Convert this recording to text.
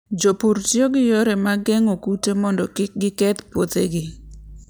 Jopur tiyo gi yore mag geng'o kute mondo kik giketh puothegi.